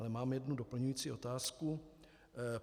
Ale mám jednu doplňující otázku.